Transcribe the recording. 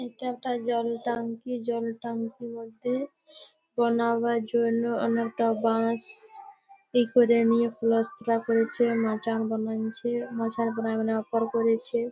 ইটা একটা জল ট্যাংকি জল ট্যাংকি বলতে-এ বানাওয়ার জন্য অনেলকটা বাঁশ-শ এ করে নিয়ে পালাস্তারা করেছে মাচান বনাঞ্ছে মাচা বনা বনা ওপর করেছে।